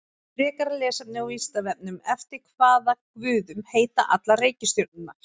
Frekara lesefni á Vísindavefnum: Eftir hvaða guðum heita allar reikistjörnurnar?